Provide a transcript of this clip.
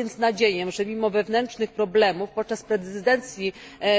Mam więc nadzieję, że pomimo wewnętrznych problemów podczas prezydencji